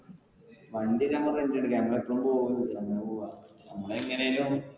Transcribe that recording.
വണ്ടി നമ്മുക്ക് rent നു എടുക്കാം നമ്മൾ എപ്പോഴും എങ്ങനേലും.